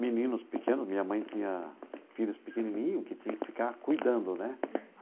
Meninos pequenos, minha mãe tinha filhos pequenininho que tinha que ficar cuidando, né?